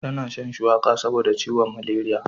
Ta na shan shuwaka saboda ciwon maleriya